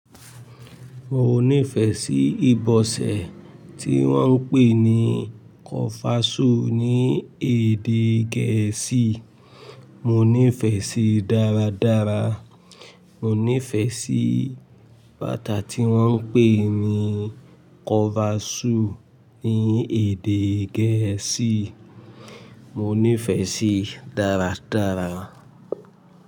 Mo nífẹ̀ẹ́ sí ibọsẹ̀ tí wọ́n ń pè ní kọfasú ní èdè gẹ̀ẹ́sì, mo nífẹ̀ẹ́ síí dáradára. Mo nífẹ̀ẹ́ sí bàtà tí wọ́n ń pè ní cover shoe ní èdè gẹ̀ẹ́sì, mo nífẹ̀ẹ́ síí dáradára.